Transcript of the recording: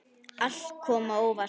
Allt kom á óvart.